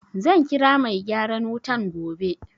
Zan kira mai gyaran wutan gobe.